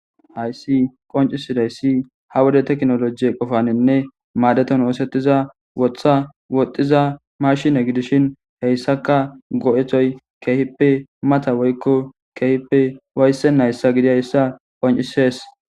Haysi eocisidaysi ha wode tekonoloje qopaninne madetana besiza wotha woxiza mashine gidishin haysaka go'etoy kehipe mata woyko kehipe ufaysenaysa gidiyaysa qoncoses